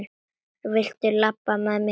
Viltu labba með mér heim!